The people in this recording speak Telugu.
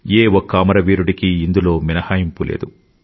ఏ ఒక్క అమరవీరుడికీ ఇందులో మినహాయింపు లేదు